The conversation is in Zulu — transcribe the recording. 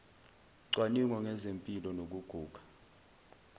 cwaningo ngezempilo nokuguga